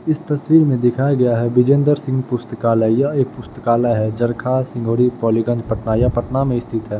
इस तस्वीर में दिखाया गया है बिजेंद्र सिंग पुस्तकालय यह एक पुस्तकालय है जरखा सिंगोड़ी पोलीगंज पटना यह पटना में स्थित है।